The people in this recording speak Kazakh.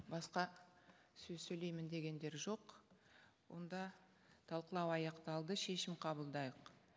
басқа сөз сөйлеймін дегендер жоқ онда талқылау аяқталды шешім қабылдайық